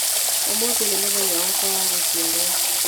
Ũmũthĩ nĩ mũthenya wakwa wa gũciarwo.